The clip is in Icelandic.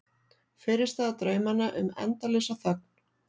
Fyrirstaða draumanna um endalausa þögn.